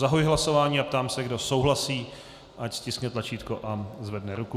Zahajuji hlasování a ptám se, kdo souhlasí, ať stiskne tlačítko a zvedne ruku.